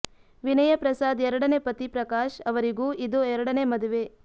ವಿನಯಾ ಪ್ರಸಾದ್ ಎರಡನೆ ಪತಿ ಪ್ರಕಾಶ್ ಅವರಿಗೂ ಇದು ಎರಡನೆ ಮದುವೆ